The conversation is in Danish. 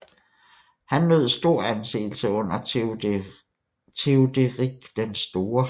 Han nød stor anseelse under Theoderik den Store